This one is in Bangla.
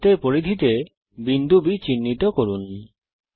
বৃত্তের পরিধিতে বিন্দু B চিহ্নিত করুন